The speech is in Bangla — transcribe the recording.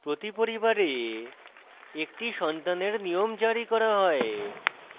প্রতি পরিবারে একটি সন্তানের নিয়ম জারি করা হয়